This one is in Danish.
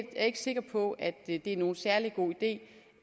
er ikke sikker på at det er nogen særlig god idé